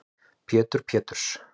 Pétur Péturs